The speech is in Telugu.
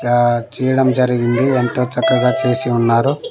ఇలా చేయడం జరిగింది ఎంతో చక్కగా చేసి ఉన్నారు.